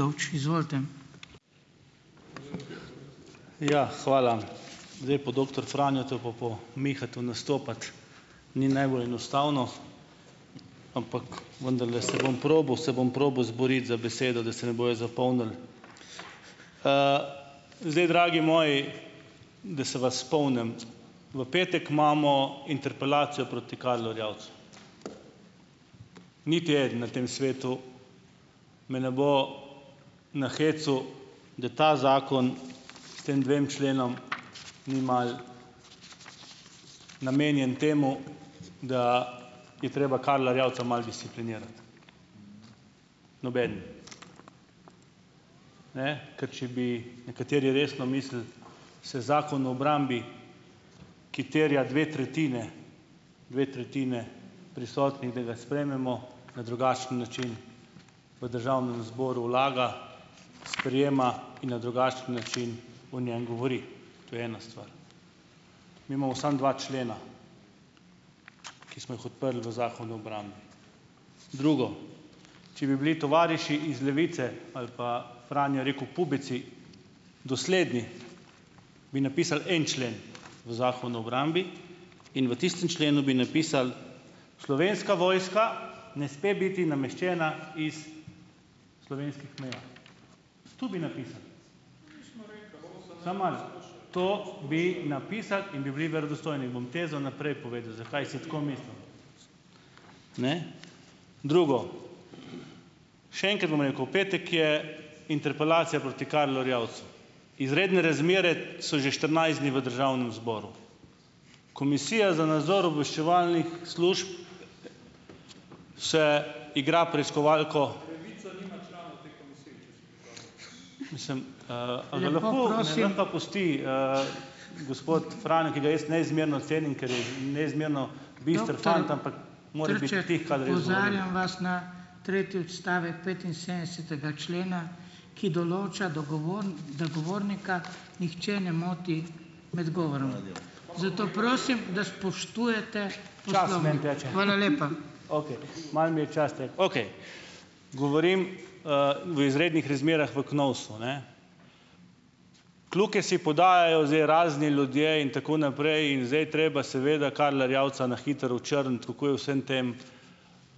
Dovč, izvolite. Ja, hvala, zdaj po doktor Franju pa po Mihu nastopati ni najbolj enostavno, ampak vendarle se bom probal se bom probal izboriti za besedo, da se me bojo zapomnili, zdaj, dragi moj, da se vas spomnim, v petek imamo interpelacijo proti Karlu Erjavcu, niti eden na tem svetu me ne bo nahecal, da ta zakon s tem dvema členoma ni malo namenjen temu, da je treba Karla Erjavca malo disciplinirati, nobeden, ne, ker če bi nekateri resno mislili, se zakon o obrambi, ki terja dve tretjini, dve tretjini prisotnih, da ga sprejmemo, na drugačen način v državnem zboru vlada sprejema in na drugačen način o njem govori, to je ena stvar, mi imamo samo dva člena, ki smo jih odprli v zakonu o obrambi, drugo, če bi bili tovariši iz Levice ali pa, Franjo je rekel pubeci, dosledni, bi napisali en člen v zakon o obrambi in v tistem členu bi napisali: "Slovenska vojska ne sme biti nameščena iz slovenskih meja." To bi napisali, samo malo, to bi napisali in bi bili verodostojni, bom tezo naprej povedal, zakaj si tako mislim, ne, drugo, še enkrat bom rekel, petek je interpelacija proti Karlu Erjavcu, izredne razmere so že štirinajst dni v državnem zboru, komisija za nadzor obveščevalnih služb se se igra preiskovalko, sem, gospod Franjo, ki ga jaz neizmerno cenim, ker je neizmerno okej, malo mi je čas, okej govorim, v izrednih razmerah v KNOVS-u, ne, kljuke si podajajo zdaj razni ljudje in tako naprej, in zdaj treba seveda Karla Erjavca na hitro očrniti, kako je v vsem tem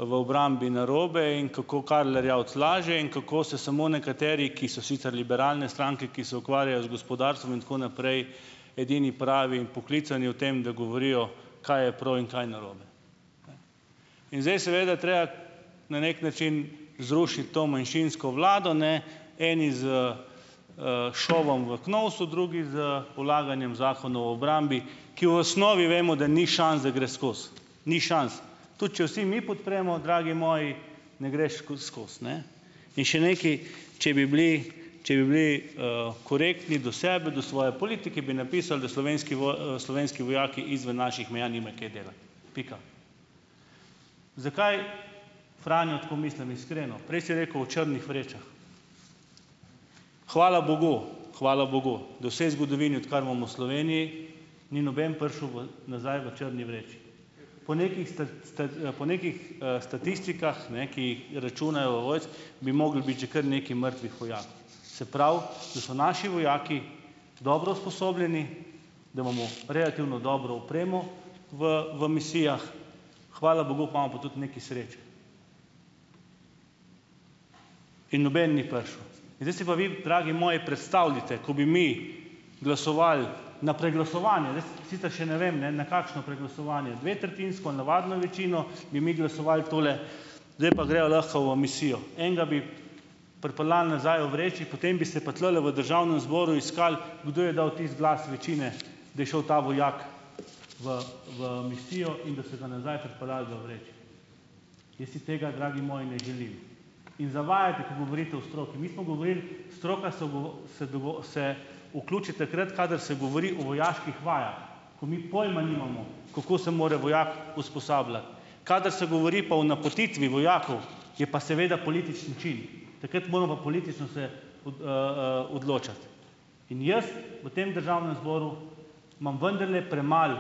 v obrambi narobe in kako Karl Erjavec laže in kako se samo nekateri, ki so sicer liberalne stranke, ki se ukvarjajo z gospodarstvom in tako naprej, edini pravi poklicani o tem, da govorijo, kaj je prav in kaj je narobe, in zdaj seveda treba na neki način zrušiti to manjšinsko vlado, ne, eni s, šovom v KMOVS-u, drugi s polaganjem zakonov v obrambi, ki v osnovi vemo, da ni šans, da gre skozi, ni šans, tudi če vsi mi podpremo, dragi moji, ne gre skozi, skozi, ne, in še nekaj, če bi bili, če bi bili, korektni do sebe do svoje politike, bi napisali, da slovenski slovenski vojaki izven naših meja nimajo kaj delati, pika. Zakaj Franjo tako mislim? Iskreno prej si rekel: "V črnih vrečah." Hvala bogu, hvala bogu do sedaj zgodovini, odkar imamo Sloveniji, ni noben prišel v nazaj v črni vreči, po nekih po nekih, statistikah, ne, ki računajo bi mogli biti že kar nekaj mrtvih vojakov, se pravi, da so naši vojaki dobro usposobljeni, da imamo relativno dobro opremo v v misijah, hvala bogu, imamo pa tudi nekaj sreče, in noben ni prišel, zdaj si pa vi dragi moji predstavljajte, ko bi mi glasovali na preglasovanju, jaz sicer še ne vem, ne, na kakšno preglasovanje, dvotretjinsko navadno večino bi mi glasovali tole, zdaj pa greva lahko v misijo, enega bi pripeljali nazaj v vreči, potem bi se tulele v državnem zboru iskalo, kdo je dal tisti glas večine, da je šel ta vojak v v misijo in da so ga nazaj pripeljali v vreči. Jaz si tega, dragi moji, ne želim in zavajate, ko govorite o stroki, mi smo govorili stroka se se vključi takrat, kadar se govori o vojaških vajah, ko mi pojma nimamo, kako se more vojak usposabljati, kadar se govori pa o napotitvi vojakov, je pa seveda politični čin, takrat moramo pa politično se odločati in jaz v tem državnem zboru imam vendarle premalo,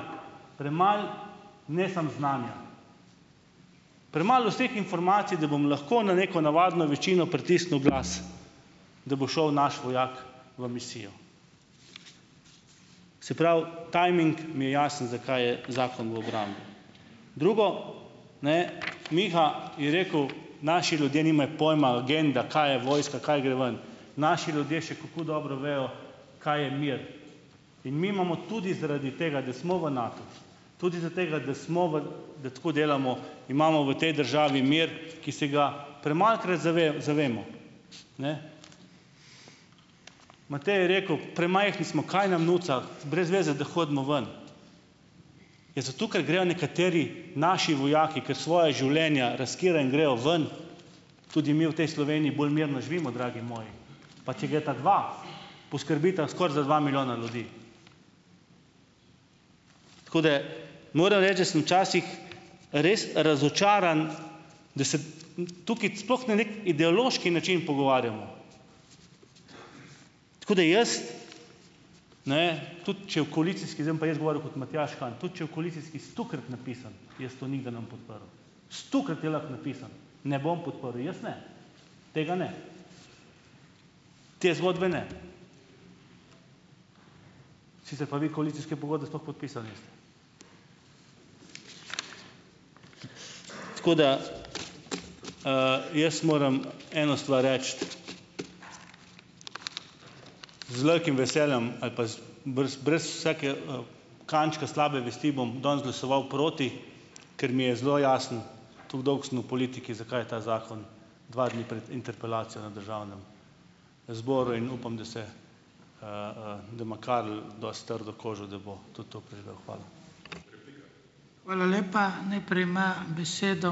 premalo, ne samo znanja, premalo vseh informacij, da bom lahko na neko navadno večino pritisnil glas, da bo šel naš vojak v misijo, se pravi, timing mi je jasen, zakaj je zakon v obrambi, drugo, ne, Miha je rekel: "Naši ljudje nimajo pojma legenda, kaj je vojska, kaj gre ven." Naši ljudje še kako dobro vejo, kaj je mir, in mi imamo tudi zaradi tega da smo v NATU tudi zaradi tega, da smo v, da tako delamo, imamo v tej državi mir, ki se ga premalokrat zavemo, ne. Matej je rekel: "Premajhni smo, kaj nam nuca, brez veze, da hodimo ven." Ja, zato ker grejo nekateri naši vojaki, ke svoja življenja riskirajo in grejo ven, tudi mi v tej Sloveniji bolj mirno živimo, dragi moji, pa če gresta dva, poskrbita skoraj za dva milijona ljudi, kot da moram reči, da sem včasih res razočaran, da se tukaj sploh na neki ideološki način pogovarjamo, tako da jaz, ne, tudi če v koalicijski, zdaj bom pa jaz govoril kot Matjaž Han, tudi če je v koalicijski stokrat napisano, jaz to nikdar ne bom podprl, stokrat je lahko napisano, ne bom podprl jaz, ne, tega ne, te zgodbe ne, sicer pa vi koalicijske pogodbe sploh podpisali niste, tako da, jaz moram eno stvar reči: z velikim veseljem ali pa z brez vsakega kančka slabe vesti bom danes glasoval proti, ker mi je zelo jasno tako dolgo sem na politiki, zakaj je ta zakon dva dni pred interpelacijo na državnem zboru, in upam da se, da ima Karel dosti trdo kožo, da bo tudi to preživel, hvala. Hvala lepa, najprej ima besedo ...